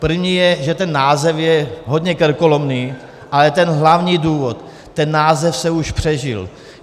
První je, že ten název je hodně krkolomný, ale ten hlavní důvod - ten název se už přežil.